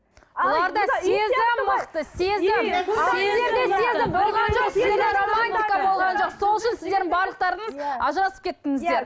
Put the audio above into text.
бұларда сезім мықты сезім сол үшін сіздердің барлықтарыңыз ажырасып кеттіңіздер